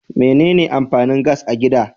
Mene ne amfanin gas a gida?